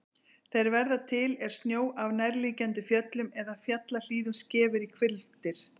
Þeir verða til er snjó af nærliggjandi fjöllum eða fjallahlíðum skefur í hvilftir.